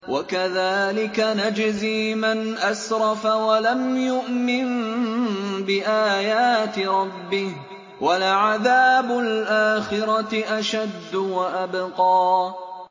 وَكَذَٰلِكَ نَجْزِي مَنْ أَسْرَفَ وَلَمْ يُؤْمِن بِآيَاتِ رَبِّهِ ۚ وَلَعَذَابُ الْآخِرَةِ أَشَدُّ وَأَبْقَىٰ